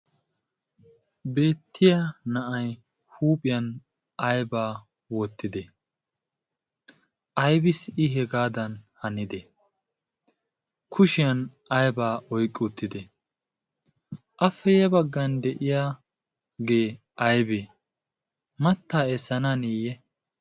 Beettiya na'ai huuphiyan aybaa wottide ayibis i hegaadan hanide kushiyan aybaa oiqqouttide afeye baggan de'iyagee aybee mattaa essana niiyye?